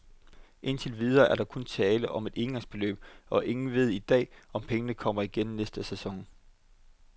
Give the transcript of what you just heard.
Indtil videre er der kun tale om et engangsbeløb, og ingen ved i dag, om pengene kommer igen næste sæson.